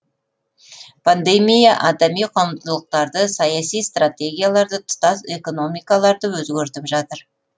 пандемия адами құндылықтарды саяси стратегияларды тұтас экономикаларды өзгертіп жатыр